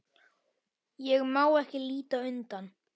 Ég má ekki líta undan.